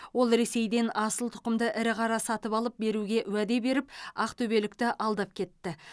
ол ресейден асыл тұқымды ірі қара сатып алып беруге уәде беріп ақтөбелікті алдап кетті